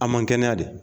A man kɛnɛya de